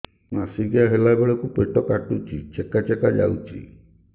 ମାସିକିଆ ହେଲା ବେଳକୁ ପେଟ କାଟୁଚି ଚେକା ଚେକା ଯାଉଚି